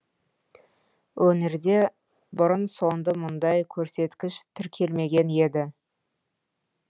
өңірде бұрын соңды мұндай көрсеткіш тіркелмеген еді